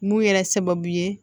Mun yɛrɛ sababu ye